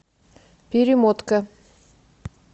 перемотка